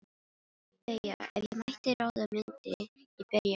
BAUJA: Ef ég mætti ráða myndi ég berja hann.